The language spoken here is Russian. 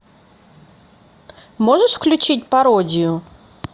можешь включить пародию